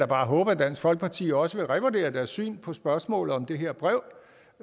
bare håbe at dansk folkeparti også vil revurdere deres syn på spørgsmålet om det her brev